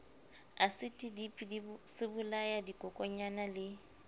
asiti dipi sebolaya dikokonyana le